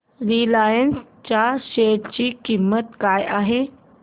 Reliance च्या share ची किंमत काय आहे